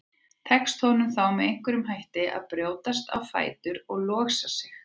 Tekst honum þá með einhverjum hætti að brjótast á fætur og losa sig.